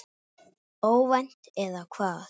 Óvænt, eða hvað?